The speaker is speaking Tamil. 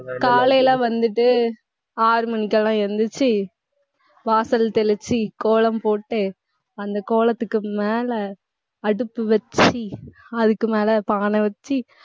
காலையில வந்துட்டு ஆறு மணிக்கெல்லாம் எந்திரிச்சு வாசல் தெளிச்சு, கோலம் போட்டு, அந்த கோலத்துக்கு மேல அடுப்பு வச்சு அதுக்கு மேல பானை வச்சு